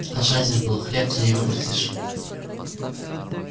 а жаден был хлебца не выпросишь